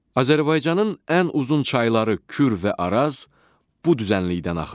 Azərbaycanın ən uzun çayları Kür və Araz bu düzənlikdən axır.